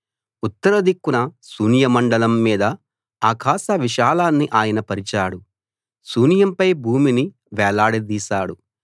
ఉత్తర దిక్కున శూన్యమండలం మీద ఆకాశ విశాలాన్ని ఆయన పరిచాడు శూన్యంపై భూమిని వేలాడదీశాడు